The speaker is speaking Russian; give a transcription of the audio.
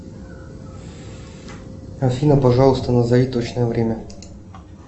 афина пожалуйста назови точное время